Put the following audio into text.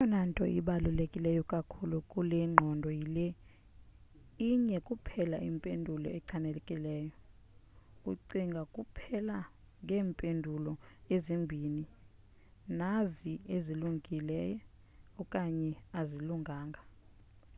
eyona nto ibaluleke kakhulu kule ngqondo yile inye kuphela impendulo echanekileyo ucinga kuphela ngeempendulo ezimbini nazi ezilungile okanye azilunganga